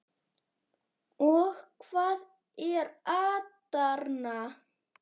Og hvað er atarna?